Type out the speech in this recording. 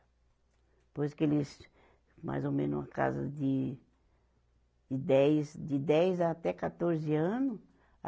Depois que eles, mais ou menos uma casa de de dez, de dez até quatorze anos.